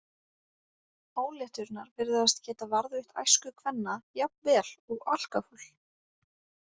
Ólétturnar virðast geta varðveitt æsku kvenna jafn vel og alkóhól.